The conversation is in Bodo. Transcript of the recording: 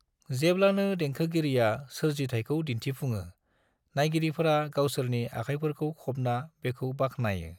जेब्लानो देंखोगिरिया सोरजिथायखौ दिन्थिफुङो, नायगिरिफोरा गावसोरनि आखायफोरखौ खबना बेखौ बाख्नायो।